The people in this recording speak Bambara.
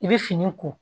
I bɛ fini ko